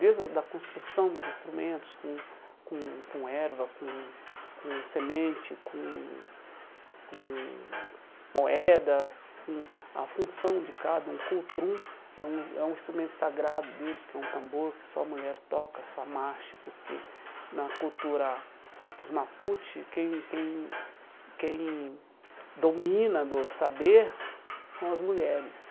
Desde da da construção dos instrumentos com com com erva, com com semente, com com moedas, com a função de cada, é um é um instrumento sagrado deles, que é um tambor que só a mulher toca, só, porque na cultura dos Maputi quem quem quem domina do saber são as mulheres.